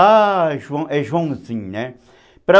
Ah, Joãozinho, né?